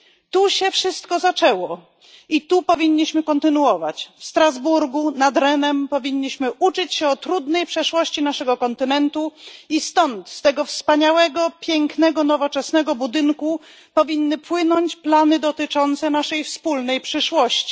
Tu się wszystko zaczęło i tu powinniśmy kontynuować, w Strasburgu nad Renem powinniśmy uczyć się o trudnej przeszłości naszego kontynentu i stąd z tego wspaniałego, pięknego, nowoczesnego budynku powinny płynąć plany dotyczące naszej wspólnej przyszłości.